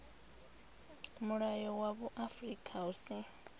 mulayo wa vhuaifa hu si